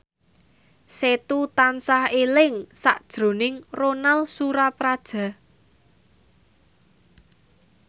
Setu tansah eling sakjroning Ronal Surapradja